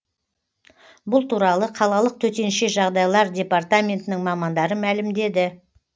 бұл туралы қалалық төтенше жағдайлар департаментінің мамандары мәлімдеді